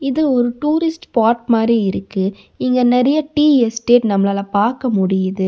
இது ஒரு tourist spot மாறி இருக்கு இங்க நெறய டீ எஸ்டேட் நம்மளால பாக்க முடியுது.